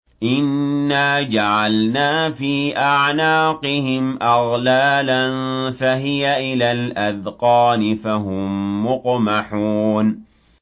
إِنَّا جَعَلْنَا فِي أَعْنَاقِهِمْ أَغْلَالًا فَهِيَ إِلَى الْأَذْقَانِ فَهُم مُّقْمَحُونَ